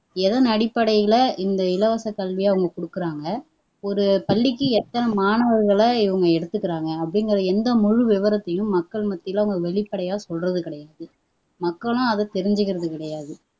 எதன் அடிப்படையில இந்த இலவச கல்வியை அவங்க குடுக்குறாங்க ஒரு பள்ளிக்கு எத்தனை மாணவர்களை இவங்க எடுத்துக்கிறாங்க அப்படிங்கிற எந்த முழு விவரத்தையும் மக்கள் மத்தியில வெளிப்படையா சொல்றது கிடையாது மக்களும் அதை தெரிஞ்சுக்கிறது கிடையாது